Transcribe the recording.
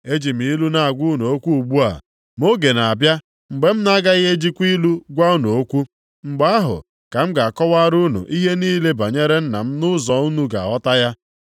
“Eji m ilu na-agwa unu okwu ugbu a, ma oge na-abịa mgbe m na-agaghị ejikwa ilu gwa unu okwu. Mgbe ahụ ka m ga-akọwara unu niile ihe banyere Nna m nʼụzọ unu ga-aghọta ya.